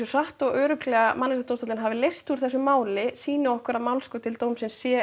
hratt og örugglega Mannréttindadómstóllinn leysti úr þessu máli sýni okkur að málskot til dómsins sé